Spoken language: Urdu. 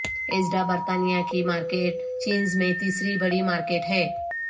ایزڈا برطانیہ کی مارکیٹ چینز میں تیسری بڑی مارکیٹ ہے